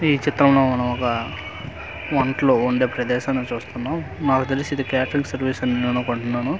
ఈ చిత్రం లో మనం ఒక వంటలు వండే ప్రదేశాన్ని చూస్తున్నాం మాకు తెలిసి ఇది క్యాటరింగ్ సర్వీస్ అని అనుకుంటున్నాను .